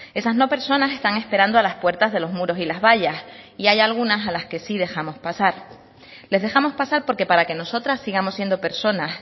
esas no personas están esperando a las puertas de los muros y las vallas y hay algunas a las que sí dejamos pasar les dejamos pasar porque para que nosotras sigamos siendo personas